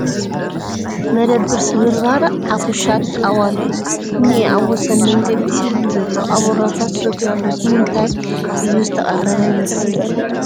መደበር ስብርባር ዓፉሻት ጣዋሉ እዩ እንኤ ኣብ ወሰን መንገዲ እዩ ዘሎ አቦራታት ሰትዩ ኣሎ ፡ ንምንታይ እዩ ዝተቐረበ ይመስል ?